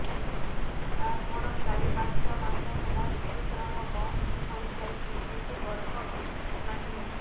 ସାର ମୋର ଚାରି ପାଞ୍ଚ ମାସ ହେଲା ଋତୁସ୍ରାବ ବନ୍ଦ ହେଇଯାଇଛି କିନ୍ତୁ ଗର୍ଭ ବି ନାହିଁ